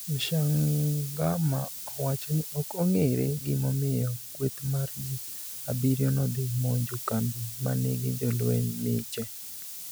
Mshangama owachoni ok ong'ere gimomiyo kweth mar ji abirio nodhi monjo kambi manigi jolweny miche.